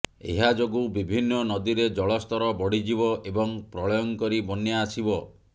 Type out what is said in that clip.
ଏହାଯୋଗୁ ବିଭିନ୍ନ ନଦୀରେ ଜଳସ୍ତର ବଢ଼ିଯିବ ଏବଂ ପ୍ରଳୟଙ୍କରୀ ବନ୍ୟା ଆସିବ